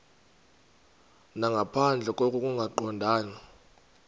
nangaphandle koko kungaqondani